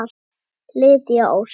Lydia Ósk.